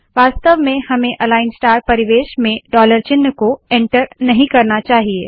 वास्तव में हमें अलाइन स्टार परिवेश में डॉलर चिन्ह को एन्टर नहीं करना चाहिए